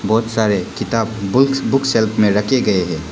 बहुत सारे किताब बुक सेल्फ में रखे गए हैं।